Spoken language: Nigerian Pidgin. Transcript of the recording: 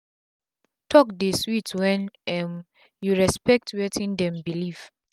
talk dey sweet wen um u respect wetin dem belief